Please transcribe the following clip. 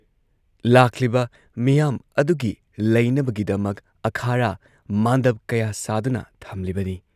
ꯂꯥꯛꯂꯤꯕ ꯃꯤꯌꯥꯝ ꯑꯗꯨꯒꯤ ꯂꯩꯅꯕꯒꯤꯗꯃꯛ ꯑꯥꯈꯔꯥ, ꯃꯥꯟꯗꯞ ꯀꯌꯥ ꯁꯥꯗꯨꯅ ꯊꯝꯂꯤꯕꯅꯤ ꯫